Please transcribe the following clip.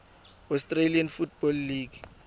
australian football league